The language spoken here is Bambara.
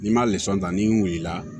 N'i ma ta n'i wulila